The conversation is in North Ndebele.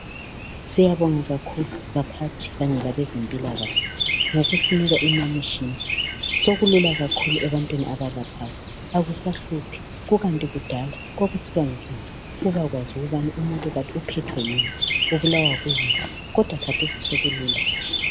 Syabonga kakhulu baphathi kanye labezempilakahle ngokusinika imitshina sokulula kakhulu ebantwini abalaphayo akusahluphi kukanti kudala kwakusibanzima ukubakwazi ukubana umuntu kanty uphethwe yini ubulawa yini kodwa khathesi sekulula nje.